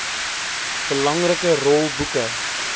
belangrike rol boeke